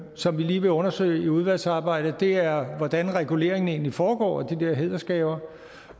som vi lige vil undersøge i udvalgsarbejdet og det er hvordan reguleringen egentlig foregår af de der hædersgaver